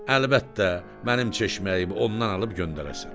Əlbəttə, mənim çeşməyim ondan alıb göndərəsən.